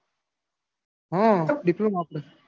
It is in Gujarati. હમ diploma આપડે.